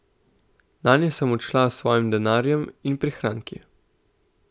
Nanje sem odšla s svojim denarjem in prihranki.